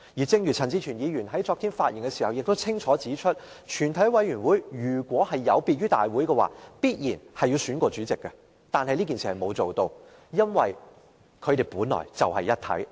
正如陳志全議員昨天發言時清楚指出，如果全委會有別於大會的話，定必會另行選舉主席，但全委會並沒有這樣做，因為它們本來就是一體。